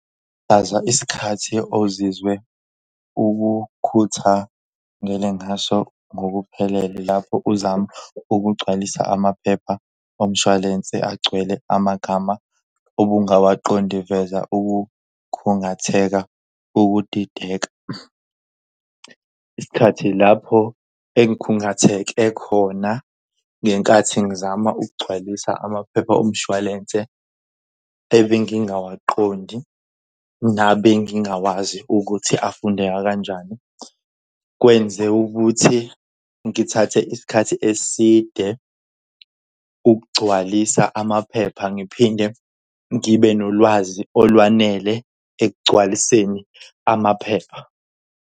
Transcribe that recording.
Chaza isikhathi ozizwe ukukhuthangele ngaso ngokuphelele lapho uzama ukugcwalisa amaphepha omshwalense agcwele amagama obungawaqondi veza ukukhungatheka ukudideka. Isikhathi lapho engikhungatheke khona ngenkathi ngizama ukugcwalisa amaphepha omshwalense ebengingawaqondi nabengingawazi ukuthi afundeka kanjani. Kwenzeka ukuthi ngithathe isikhathi eside ukugcwalisa amaphepha ngiphinde ngibe nolwazi olwanele ekugcwaliseni amaphepha.